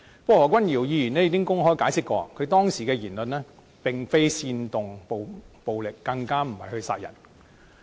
不過，何君堯議員已經公開解釋，他當時的言論並非煽動暴力，更不是要殺人。